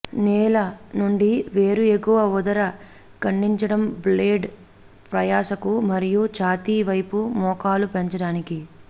నేల నుండి వేరు ఎగువ ఉదర ఖండించడం బ్లేడ్ ప్రయాసకు మరియు ఛాతీ వైపు మోకాలు పెంచడానికి